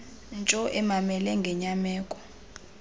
ntsho emamele ngenyameko